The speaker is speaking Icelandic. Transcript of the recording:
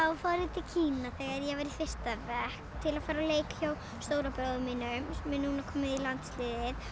til Kína þegar ég var í fyrsta bekk til að fara á leik hjá stóra bróður mínum sem er núna kominn í landsliðið